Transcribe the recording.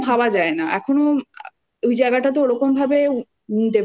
গরম জল দেবে এগুলো ভাবা যায় না এখনও ওই জায়গাটাতো